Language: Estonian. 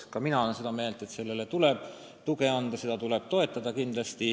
Ka mina olen seda meelt, et sellele kanalile tuleb kindlasti tuge pakkuda, seda tuleb toetada.